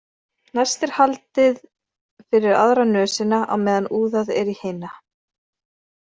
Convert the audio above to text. Næst er haldið fyrir aðra nösina á meðan úðað er í hina.